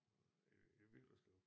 I i Villerslev